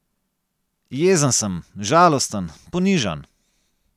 Jezen sem, žalosten, ponižan.